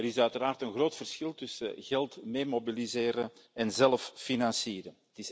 Er is uiteraard een groot verschil tussen geld mee mobiliseren en zelf financieren.